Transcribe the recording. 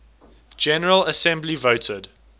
general assembly voted